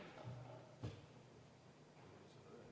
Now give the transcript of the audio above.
Austatud minister!